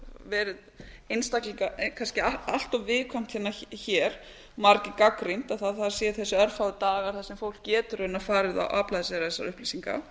verið kannski allt of viðkvæmt hér margir gagnrýnt að það séu þessir örfáu dagar þar sem fólk getur raunar farið og aflað sér þessara upplýsinga